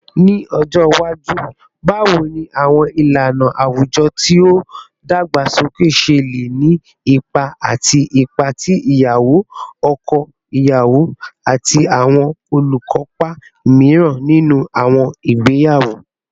Ni ọjọ iwaju, bawo ni awọn ilana awujọ ti o dagbasoke ṣe le ni ipa ati ipa ti iyawo, ọkọ iyawo, ati awọn olukopa miiran ninu awọn igbeyawo?